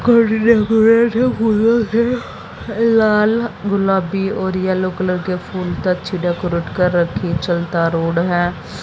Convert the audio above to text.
लाल गुलाबी और yellow colour के फूल का अच्छी डेकोरेट कर रखी चलता रोड है।